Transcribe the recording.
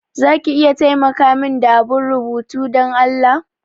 Za ki iya taimaka min da abun rubutu Dan Allah?